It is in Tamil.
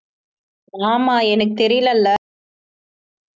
ஆமாம் எனக்குத் தெரியலல